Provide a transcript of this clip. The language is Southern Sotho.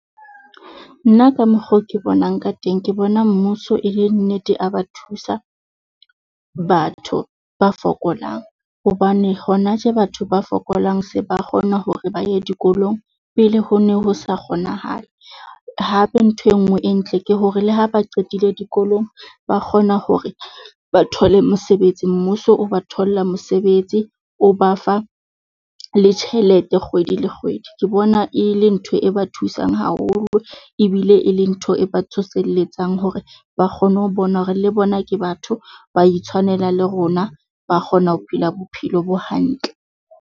Nna ka mokgo ke bonang ka teng, ke bona mmuso e le nnete a ba thusa batho ba fokolang. Hobane hona tje batho ba fokolang se ba kgona hore ba ye dikolong pele ho ne ho se kgonahale. Hape, ntho e nngwe e ntle ke hore le ha ba qetile dikolong, ba kgona hore ba thole mosebetsi, mmuso o ba tholla mosebetsi, o ba fa le tjhelete kgwedi le kgwedi. Ke bona e le ntho e ba thusang haholo ebile e le ntho e ba tsoselletsang hore ba kgone ho bona hore le bona ke batho ba itshwanela le rona, ba kgona ho phela bophelo bo hantle.